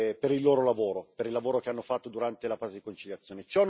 per il loro lavoro, per il lavoro che hanno fatto durante la fase di conciliazione.